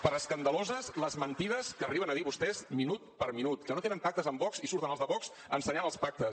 per escandaloses les mentides que arriben a dir vostès minut per minut que no tenen pactes amb vox i surten els de vox ensenyant els pactes